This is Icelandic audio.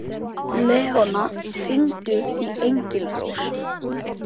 Leóna, hringdu í Engilrós.